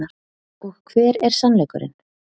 Og hver er sannleikurinn.